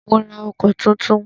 Mó rá ọkọ̀ túntún.